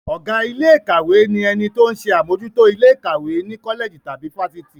Ọ̀gá ilé ìkàwé ni ẹni tó ń ṣe àmójútó ilé ìkàwé ní kọ́lẹ̀jì tàbí fáfitì.